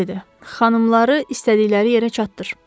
Xanımları istədikləri yerə çatdır.